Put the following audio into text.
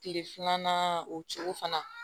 Kile filanan o cogo fana na